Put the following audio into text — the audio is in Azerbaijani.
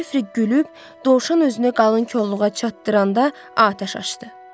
Jefri gülüb dovşan özünü qalın kolluğa çatdıranda atəş açdı.